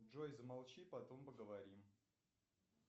джой замолчи потом поговорим